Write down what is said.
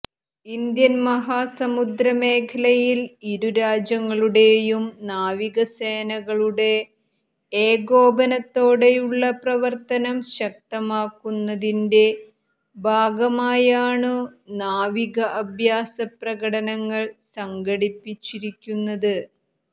Indian മഹാസമുദ്ര മേഖലയിൽ ഇരുരാജ്യങ്ങളുടെയും നാവികസേനകളുടെ ഏകോപനത്തോടെയുള്ള പ്രവർത്തനം ശക്തമാക്കുന്നതിന്റെ ഭാഗമായാണു നാവിക അഭ്യാസ പ്രകടനങ്ങൾ സംഘടിപ്പിച്ചിരിക്കുന്നത്